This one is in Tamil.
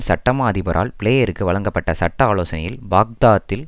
சட்டமா அதிபரால் பிளேயருக்கு வழங்கப்பட்ட சட்ட ஆலோசனையில் பாக்தாத்தில்